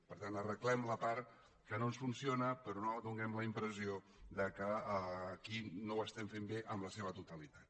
per tant arreglem la part que no ens funciona però no donem la impressió que aquí no ho estem fent bé en la seva totalitat